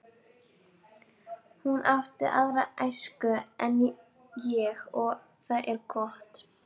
Hún átti aðra æsku en ég og það er gott.